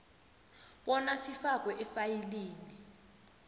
bona sifakwe efayilini